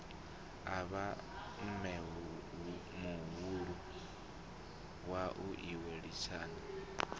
avha mmemuhulu wau iwe lisani